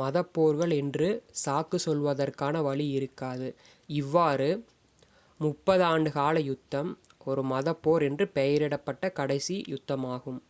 மதப் போர்கள் என்று சாக்கு சொல்வதற்கான வழி இருக்காது இவ்வாறு முப்பது ஆண்டுகால யுத்தம் ஒரு மதப் போர் என்று பெயரிடப்பட்ட கடைசி யுத்தமாகும்